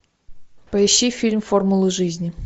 поищи фильм формулы жизни